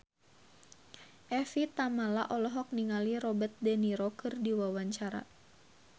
Evie Tamala olohok ningali Robert de Niro keur diwawancara